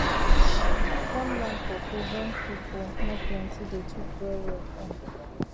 um farmland for place wen pipu nor plenti dey cheap well well um